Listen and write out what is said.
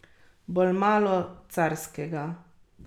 Bolj malo carskega.